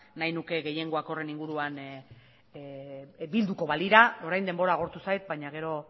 nahi nuke gehiengoak horren inguruan bilduko balira orain denbora agortu zait baina gero